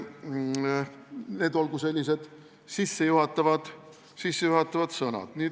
Need olgu sellised sissejuhatavad sõnad.